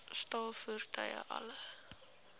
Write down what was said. staal voertuie alle